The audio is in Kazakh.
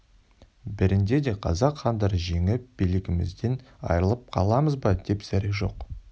бәрінде де қазақ хандары жеңіп билігімізден айырылып қаламыз ба деп зәре жоқ